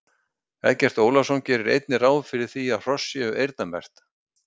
Eggert Ólafsson gerir einnig ráð fyrir því að hross séu eyrnamerkt.